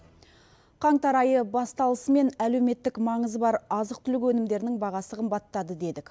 қаңтар айы басталысымен әлеуметтік маңызы бар азық түлік өнімдерінің бағасы қымбаттады дедік